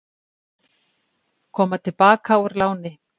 Koma til baka úr láni